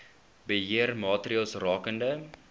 beheer maatreëls rakende